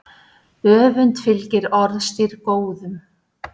Öfund fylgir orðstír góðum.